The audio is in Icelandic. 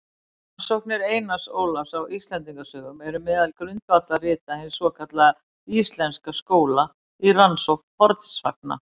Rannsóknir Einars Ólafs á Íslendingasögum eru meðal grundvallarrita hins svokallaða íslenska skóla í rannsókn fornsagna.